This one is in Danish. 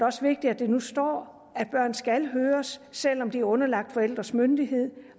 også vigtigt at der nu står at børn skal høres selv om de er underlagt forældres myndighed